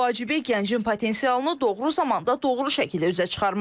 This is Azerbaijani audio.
Ən vacibi gəncin potensialını doğru zamanda doğru şəkildə üzə çıxarmaqdır.